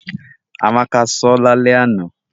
Amaka so lale ana.